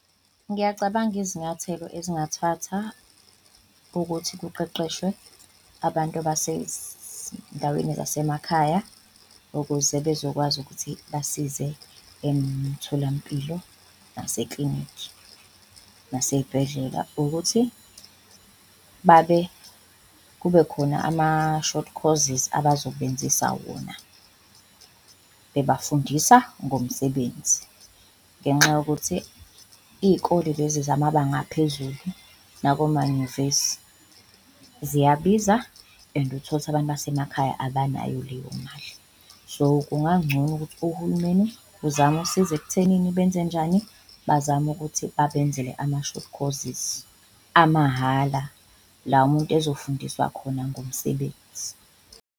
Ngiyacabanga izinyathelo ezingathatha ukuthi kuqeqeshwe abantu zasemakhaya ukuze bezokwazi ukuthi basize emtholampilo, naseklinikhi naseyibhedlela for ukuthi babe kube khona ama-short courses abazobenzisa wona bebafundisa ngomsebenzi. Ngenxa yokuthi iyikole lezi zamabanga aphezulu nakomanyuvesi ziyabiza and uthole ukuthi abantu basemakhaya abanayo leyo mali so, kungancono ukuthi ohulumeni uzama usiza ekuthenini benzenjani? Bazame ukuthi babenzele ama-short courses amahhala la umuntu ezofundiswa khona ngomsebenzi.